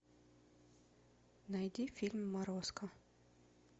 найди фильм морозко